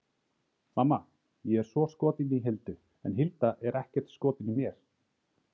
Mamma, ég er svo skotinn í Hildu en Hilda er ekkert skotin í mér!